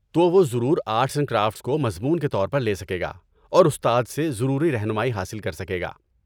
تو، وہ ضرور آرٹس اینڈ کرافٹس کو مضمون کے طور پر لے سکے گا اور استاد سے ضروری رہنمائی حاصل کر سکے گا۔